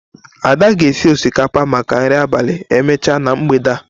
Ada ga-esi osikapa maka nri abalị emechaa na mgbede a.